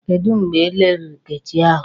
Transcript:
Kedụ mgbe elere Nkechi ahụ?